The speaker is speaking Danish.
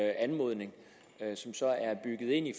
anmodning som så er bygget ind i